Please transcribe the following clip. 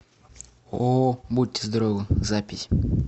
ооо будьте здоровы запись